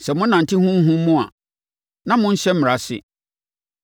Sɛ mo nante Honhom mu a, na monnhyɛ Mmara ase.